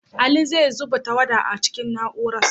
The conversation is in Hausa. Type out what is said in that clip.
Ali zai zuba tawada a cikin na'urar.